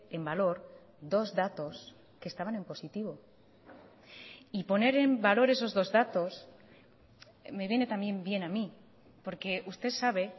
en valor dos datos que estaban en positivo y poner en valor esos dos datos me viene también bien a mí porque usted sabe